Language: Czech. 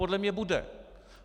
Podle mě bude.